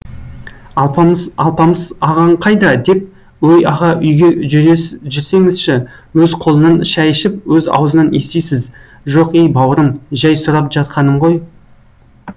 алпамыс алпамыс ағаң қайда деп ой аға үйге жүрсеңізші өз қолынан шай ішіп өз аузынан естисіз жоқ ей бауырым жәй сұрап жатқаным ғой